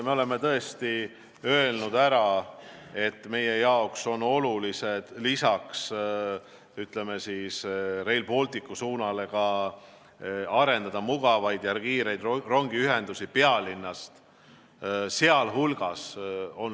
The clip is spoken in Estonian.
Me oleme tõesti öelnud, et meie jaoks on oluline Rail Balticu suunale lisaks arendada mugavaid ja kiireid rongiühendusi pealinnast.